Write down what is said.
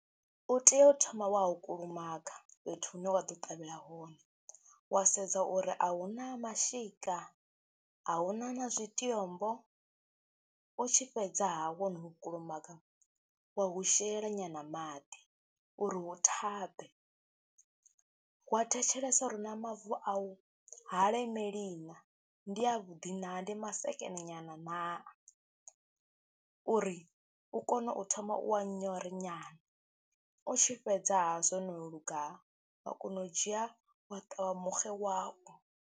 U tea u thoma wa hu kulumaga fhethu hune wa ḓo ṱavhela hone, wa sedza uri a hu na mashika, a hu na na zwitombo, u tshi fhedzaha wo no kulumaga wa hu shela nyana maḓi uri hu thabe, wa thetshelesa uri na mavu au ha lemeli na, ndi avhuḓi naa, ndi masekene nyana naa uri u kone u thoma u wa nyore nyana. U tshi fhedza ha zwo no luga wa kona u dzhia wa ṱavha muxe wau.